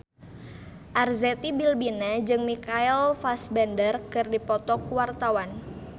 Arzetti Bilbina jeung Michael Fassbender keur dipoto ku wartawan